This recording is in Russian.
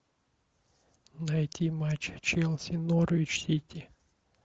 найти матч челси норвич сити